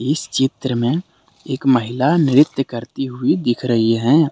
इस चित्र में एक महिला नृत्य करती हुई दिख रही हैं।